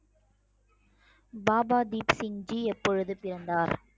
பாபா தீப் சிங் ஜி எப்பொழுது பிறந்தார்